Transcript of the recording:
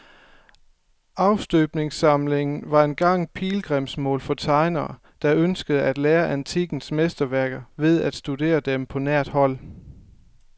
Afstøbningssamlingen var engang pilgrimsmål for tegnere, der ønskede at lære af antikkens mesterværker ved at studere dem på nært hold.